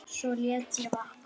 Svo lét ég vaða.